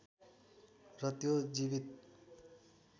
र त्यो जीवित